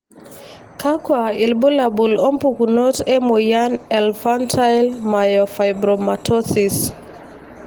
kakwa ilbulabul opukunoto emoyian eInfantile myofibromatosis?